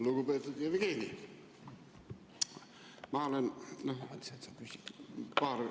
Lugupeetud Jevgeni!